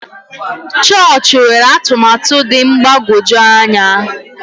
Chọọchị nwere ọtụtụ atụmatụ dị mgbagwoju anya.